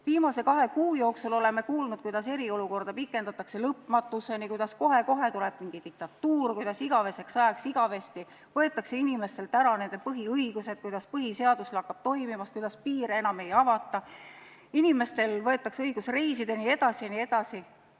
Viimase kahe kuu jooksul oleme kuulnud, kuidas eriolukorda pikendatakse lõpmatuseni, kuidas kohe-kohe tuleb mingi diktatuur, kuidas inimestelt võetakse igavesest ajast igaveseks ära nende põhiõigused, kuidas põhiseadus lakkab toimimast, kuidas piire enam ei avata, inimestelt võetakse õigus reisida jne.